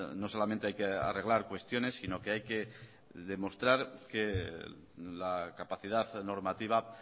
no solamente hay que arreglar cuestiones sino que hay que demostrar que la capacidad normativa